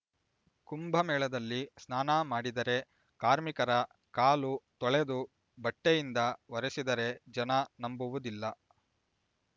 ಕುಂಭಮೇಳದಲ್ಲಿ ಸ್ನಾನ ಮಾಡಿದರೆ ಕಾರ್ಮಿಕರ ಕಾಳು ತೊಳೆದು ಬಟ್ಟೆಯಿಂದ ಒರೆಸಿದರೆ ಜನ ನಂಬುವುದಿಲ್ಲ